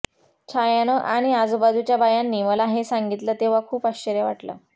छायानं आणि आजूबाजूच्या बायांनी मला हे सांगितलं तेव्हा खूप आश्चर्य वाटलं